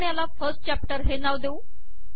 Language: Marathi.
आपण याला फर्स्ट चॅप्टर हे नाव देऊ